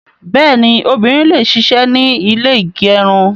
Bẹ́ẹ̀ni, obìnrin le ṣisẹ́ ní ilé ígẹrun